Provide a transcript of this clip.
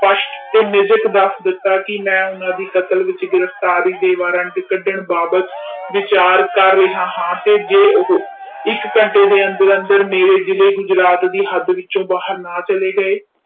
ਦਸ ਦਿੱਤਾ ਕਿ ਮੈਂ ਉੰਨਾ ਦੀ ਕਤਲ ਵਿਚ ਗਿਰਫਤਾਰੀ ਦੇ ਵਾਰੰਟ ਕੱਢਣ ਬਾਬਤ ਵਿਚਾਰ ਕਰ ਰਿਹਾ ਹਾਂ ਤੇ ਜੇ ਉਹ ਇਕ ਘੰਟੇ ਦੇ ਅੰਦਰ ਅੰਦਰ ਮੇਰੇ ਜਿਲੇ ਗੁਜਰਾਤ ਦੀ ਵਿੱਚੋ ਬਾਹਰ ਨਾ ਚਲੇ ਗਏ